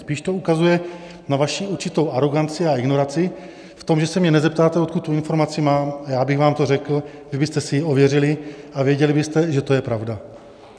Spíš to ukazuje na vaši určitou aroganci a ignoraci v tom, že se mě nezeptáte, odkud tu informaci mám, a já bych vám to řekl, vy byste si ji ověřili a věděli byste, že to je pravda.